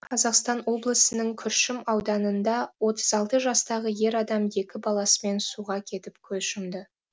қазақстан облысының күршім ауданында отыз алты жастағы ер адам екі баласымен суға кетіп көз жұмды